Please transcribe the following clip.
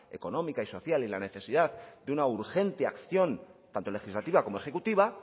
económica y social y la necesidad de una urgente acción tanto legislativa como ejecutiva